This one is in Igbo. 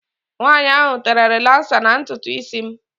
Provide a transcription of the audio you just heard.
Nwaanyi ahụ tere rilasa na ntutu isi m.